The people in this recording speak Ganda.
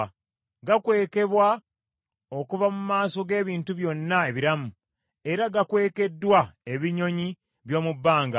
Gakwekebwa okuva mu maaso g’ebintu byonna ebiramu, era gakwekeddwa ebinyonyi by’omu bbanga.